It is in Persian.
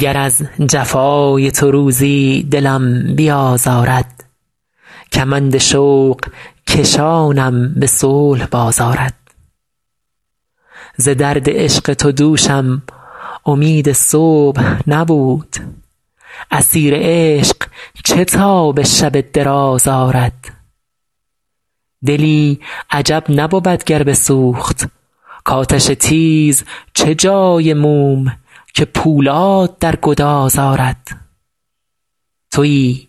گر از جفای تو روزی دلم بیازارد کمند شوق کشانم به صلح باز آرد ز درد عشق تو دوشم امید صبح نبود اسیر عشق چه تاب شب دراز آرد دلی عجب نبود گر بسوخت کآتش تیز چه جای موم که پولاد در گداز آرد تویی